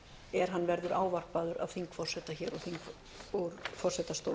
er hann verður ávarpaður af þingforseta úr forsetastóli